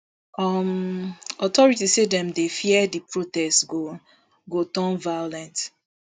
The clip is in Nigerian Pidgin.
um authorities say dem dey fear di protest go go turn violent